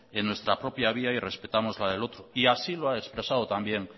en nuestra vía y respetamos la del otro y así lo ha expresado también